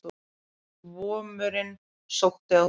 Vomurinn sótti að húsfreyjunni